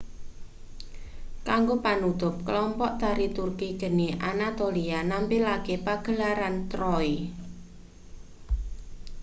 kanggo panutup kelompok tari turki geni anatolia nampilake pagelaran troy